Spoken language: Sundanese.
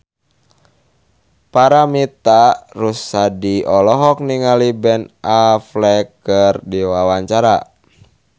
Paramitha Rusady olohok ningali Ben Affleck keur diwawancara